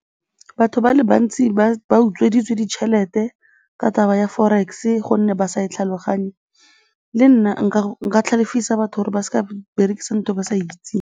Batho ba le bantsi ba utsweditswe ditšhelete ka taba ya forex-e gonne ba sa e tlhaloganye, le nna nka tlhalefisa batho gore ba se ka ba berekisa ntho e ba sa e itseng.